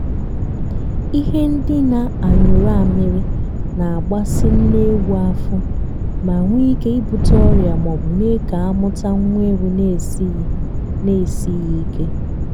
ihe ndina anyụrụ amịrị na-agbasị nne ewu afọ ma nwe ike ibute ọrịa maọbụ mee ka amụta nwa ewu na-esighi na-esighi ike.